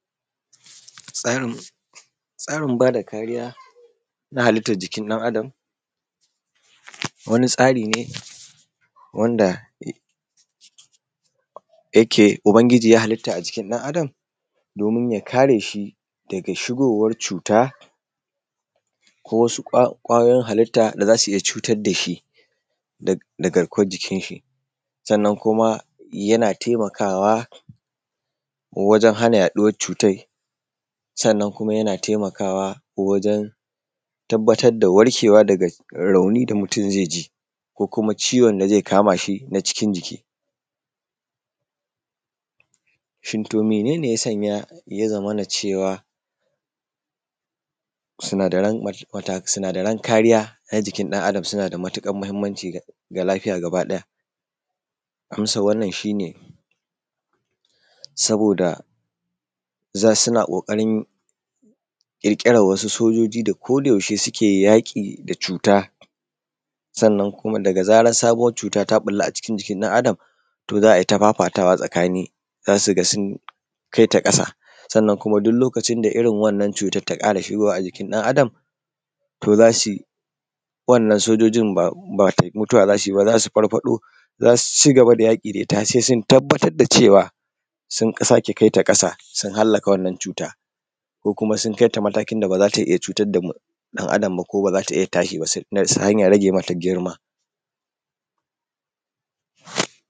Tsarin, tsarin bada kariya na halittan jikin dan adam, wani tsari ne wanda ne ya, yake ubangiji ya halitta a jikin dan adam domin ya kare shi daga shigowar cuta ko wasu kwayoyin halitta da za su iya cutar dashi da garkuwan jikin shi, sannan kuma yana taimakawa wajen hana yaɗuwar cutai, sannan kuma yana taimakawa wajen tabbatar da warkewa da rauni da mutum zai ji ko kuma ciwon da zai kama shi na cikin jiki. Shin to menen ne ya sanya ya zamana cewa sinadaran mata, wannan sojojin ba mutuwa za su yi ba, za su farfaɗo za su ci gaba da yaƙi da ita har sai sun tabbatar da cewa sun sake kaita ƙasa, sun hallaka wannan cuta ko kuma sun kaita matakin da baza ta iya cutar da ɗan Adam ba ko baza ta iya tashi ba, ta hanyar rage mata girma.